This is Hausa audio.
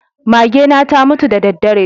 Magena ta mutu da daddare.